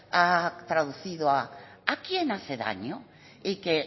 ha traducido a a quién hace daño y que